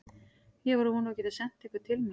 Ég var að vona að þú gætir sent einhvern til mín.